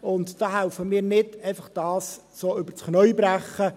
Wir helfen nicht, das einfach so übers Knie zu brechen.